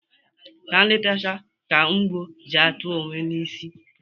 Ka eletachaa ka mgbọ ji atụ enwe n'isi.